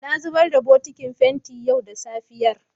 Na zubar da bokitin fenti yau da safiyar.